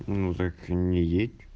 ну так не едь